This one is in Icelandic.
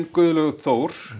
Guðlaugur Þór